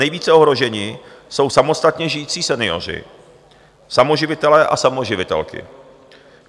Nejvíce ohroženi jsou samostatně žijící senioři, samoživitelé a samoživitelky.